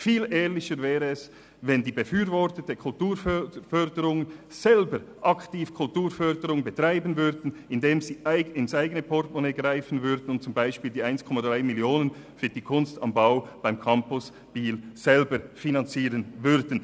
Viel ehrlicher wäre es, wenn die Befürworter der Kulturförderung selber aktiv Kulturförderung betreiben würden, indem sie ins eigene Portemonnaie greifen und beispielsweise die 1,3 Mio. Franken für die «Kunst am Bau» beim Campus Biel selber finanzieren würden.